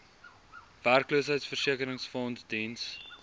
werkloosheidversekeringsfonds diens